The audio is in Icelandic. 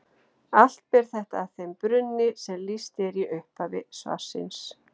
Allt ber þetta að þeim brunni sem lýst er í upphafi svarsins.